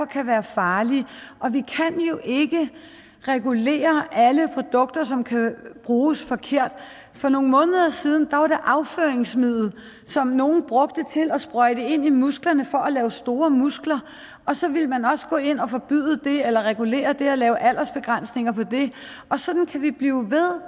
kan være farlige og vi kan jo ikke regulere alle produkter som kan bruges forkert for nogle måneder siden var det afføringsmiddel som nogle brugte til at sprøjte ind i musklerne for at lave store muskler og så ville man også gå ind og forbyde det eller regulere det og lave aldersbegrænsninger på det og sådan kan vi blive ved